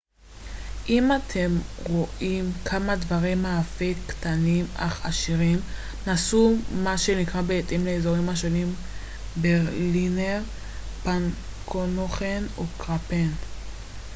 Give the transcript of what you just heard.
אם אתם רוצה כמה דברי מאפה קטנים אך עשירים נסו מה שנקרא בהתאם לאזורים השונים ברלינר פנקנוכן או קרפן